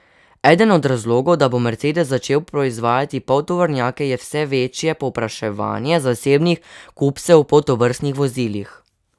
Eden od razlogov, da bo Mercedes začel proizvajati poltovornjake, je vse večje povpraševanje zasebnih kupcev po tovrstnih vozilih.